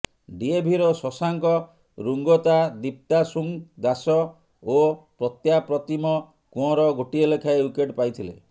ଡିଏଭିର ଶଶାଙ୍ଗ ରୁଙ୍ଗତା ଦୀପ୍ତାସୁଂ ଦାସ ଓ ପ୍ରତ୍ୟାପ୍ରତିମ କୁଅଁର ଗୋଟିଏ ଲେଖାଏଁ ଓ୍ବିକେଟ୍ ପାଇଥିଲେ